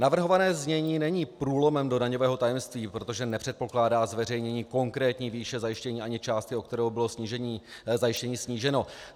Navrhované znění není průlomem do daňového tajemství, protože nepředpokládá zveřejnění konkrétní výše zajištění ani částky, o kterou bylo zajištění sníženo.